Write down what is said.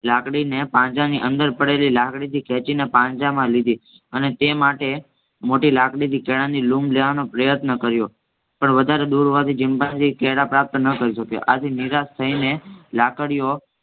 લાકડીને પાંજરાની અંદર પડેલી લાકડીથી ખેંચીને પાંજરામાં લીધી અને તે માટે મોટી લાકડીથી કેળા ની લૂમ લેવાનો પ્રયત્ન કર્યો પણ વધારે દૂર હોવાથી ચિમ્પાન્જી કેળા પ્રાપ્ત ન કરી શક્યો આથી નિરાશ થઈને લાકડીઓ